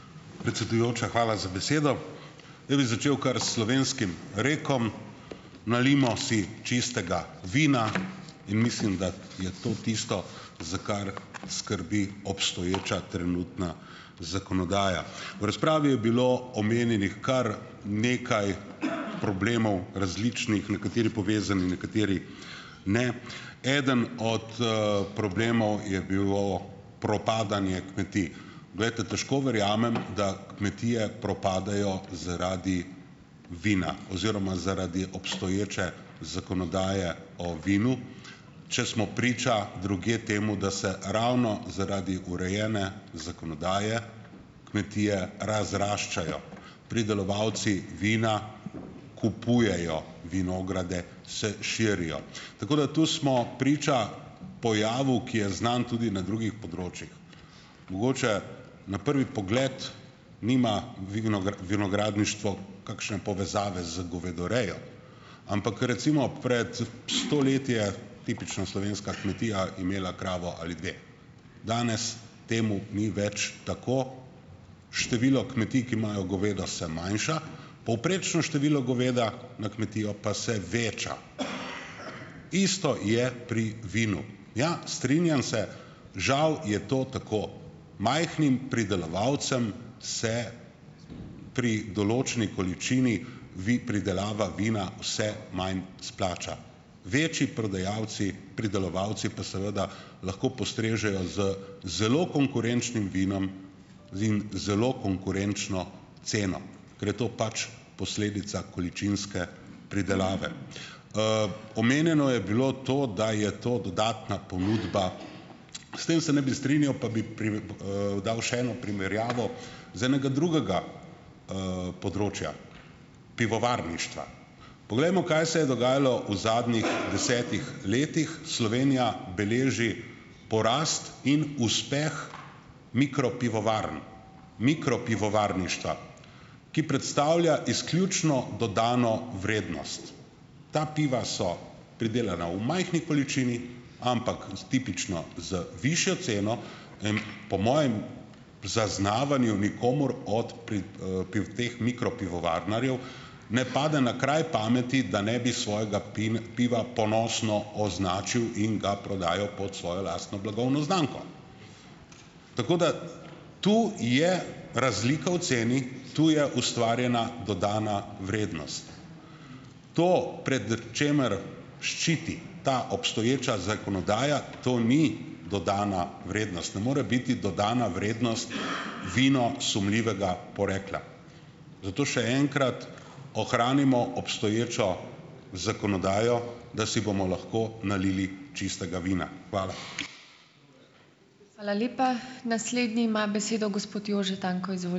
Predsedujoča, hvala za besedo! Jaz bi začel kar s slovenskim rekom "Nalijmo si čistega vina" in mislim, da je to tisto, za kar skrbi obstoječa trenutna zakonodaja. V razpravi je bilo omenjenih kar nekaj problemov, različnih, nekateri povezani, nekateri ne. Eden od, problemov je bilo propadanje kmetij. Glejte, težko verjamem, da kmetije propadajo zaradi vina oziroma zaradi obstoječe zakonodaje o vinu, če smo priča drugje temu, da se ravno zaradi urejene zakonodaje kmetije razraščajo. Pridelovalci vina kupujejo vinograde, se širijo. Tako da tu smo priča pojavu, ki je znan tudi na drugih področjih. Mogoče na prvi pogled nima vinogradništvo kakšne povezave z govedorejo, ampak recimo pred sto leti je tipično slovenska kmetija imela kravo ali dve. Danes temu ni več tako. Število kmetij, ki imajo govedo, se manjša. Povprečno število goveda na kmetijo pa se veča. Isto je pri vinu. Ja, strinjam se, žal je to tako. Majhnim pridelovalcem se pri določeni količini pridelava vina vse manj splača. Večji prodajalci, pridelovalci, pa seveda lahko postrežejo z zelo konkurenčnim vinom in zelo konkurenčno ceno, ker je to pač posledica količinske pridelave. Omenjeno je bilo to, da je to dodatna ponudba. S tem se ne bi strinjal, pa bi dal še eno primerjavo z enega drugega, področja - pivovarništva. Poglejmo, kaj se je dogajalo v zadnjih desetih letih. Slovenija beleži porast in uspeh mikropivovarn, mikropivovarništva, ki predstavlja izključno dodano vrednost. Ta piva so pridelana v majhni količini, ampak s tipično, z višjo ceno in po mojem zaznavanju nikomur od teh mikropivovarnarjev ne pade na kraj pameti, da ne bi svojega piva ponosno označil in ga prodajal pod svojo lastno blagovno znamko. Tako da tu je razlika v ceni. Tu je ustvarjena dodana vrednost. To, pred čemer ščiti ta obstoječa zakonodaja, to ni dodana vrednost, ne more biti dodana vrednost, vino sumljivega porekla. Zato še enkrat, ohranimo obstoječo zakonodajo, da si bomo lahko nalili čistega vina. Hvala.